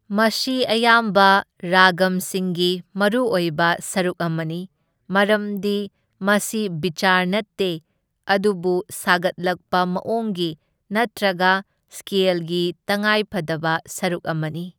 ꯃꯁꯤ ꯑꯌꯥꯝꯕ ꯔꯥꯒꯝꯁꯤꯡꯒꯤ ꯃꯔꯨꯑꯣꯏꯕ ꯁꯔꯨꯛ ꯑꯃꯅꯤ, ꯃꯔꯝꯗꯤ ꯃꯁꯤ ꯕꯤꯆꯥꯔ ꯅꯠꯇꯦ ꯑꯗꯨꯕꯨ ꯁꯥꯒꯠꯂꯛꯄ ꯃꯑꯣꯡꯒꯤ ꯅꯠꯇ꯭ꯔꯒ ꯁ꯭ꯀꯦꯜꯒꯤ ꯇꯉꯥꯏ ꯐꯗꯕ ꯁꯔꯨꯛ ꯑꯃꯅꯤ꯫